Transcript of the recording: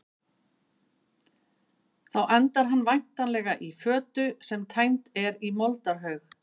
Þá endar hann væntanlega í fötu sem tæmd er í moldarhaug.